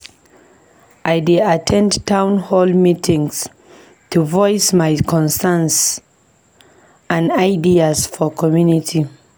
I dey at ten d town hall meetings to voice my concerns and ideas for the community.